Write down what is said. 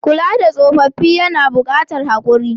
Kula da tsoffafi yAna bukatar hakuri